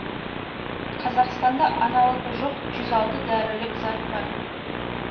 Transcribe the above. қазақстанда аналогы жоқ жүз алты дәрілік зат бар